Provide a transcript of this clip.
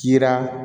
Kira